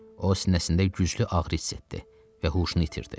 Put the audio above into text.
O sinəsində güclü ağrı hiss etdi və huşunu itirdi.